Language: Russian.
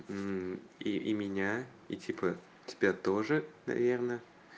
меня и типа тебя тоже наверное